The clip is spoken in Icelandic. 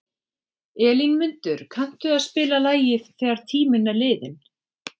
Elínmundur, kanntu að spila lagið „Þegar tíminn er liðinn“?